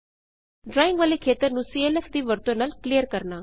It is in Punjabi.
ਡਰਾਇੰਗ ਵਾਲੇ ਖੇਤਰ ਨੂੰ ਸੀਐਲਐਫ ਦੀ ਵਰਤੋ ਨਾਲ ਕਲੀਅਰ ਕਰਨਾ